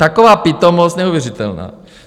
Taková pitomost neuvěřitelná!